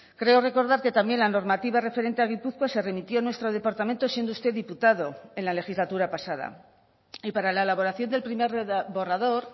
creo recordar que también la normativa referente a gipuzkoa se remitió a nuestro departamento siendo usted diputado en la legislatura pasada y para la elaboración del primer borrador